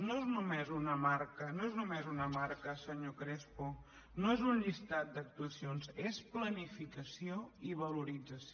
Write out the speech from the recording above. no és només una marca no és només una marca senyor crespo no és un llistat d’actuacions és planificació i valorització